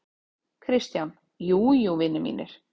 KRISTJÁN: Jú, jú, vinir mínir!